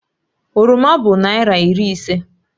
Oroma bụ naịra iri ise